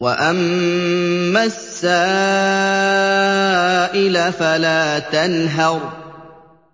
وَأَمَّا السَّائِلَ فَلَا تَنْهَرْ